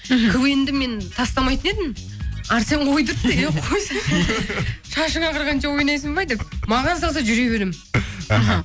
мхм квн ді мен тастамайтын едім арсен қойдыртты ей қойсай шашың ағарғанша ойнайсың ба деп маған салса жүре беремін іхі